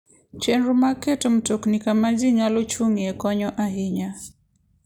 Chenro mag keto mtokni kama ji nyalo chung'ie konyo ahinya.